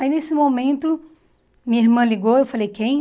Aí, nesse momento, minha irmã ligou e eu falei, quem?